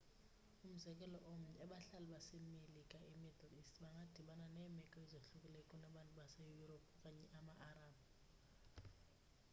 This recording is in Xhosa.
umzekelo omnye abahlali base-melika e-middle east bangadibana neemeko ezohlukileyo kunabantu base-yurophu okanye ama-arab